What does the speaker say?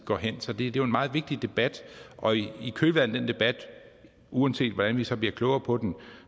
går hen så det er jo en meget vigtig debat og i kølvandet af den debat uanset hvordan vi så bliver klogere på den